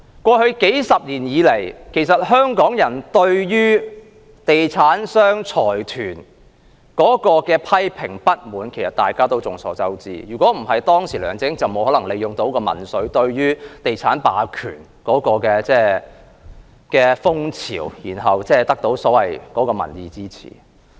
過去數十年，眾所周知，香港人一直對地產商及財團作出批評和深表不滿，否則當時梁振英也沒有可能利用民粹，趁着地產霸權的風潮獲得所謂的民意支持。